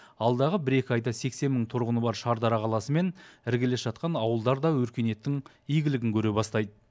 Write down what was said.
алдағы бір екі айда сексен мың тұрғыны бар шардара қаласы мен іргелес жатқан ауылдар да өркениеттің игілігін көре бастайды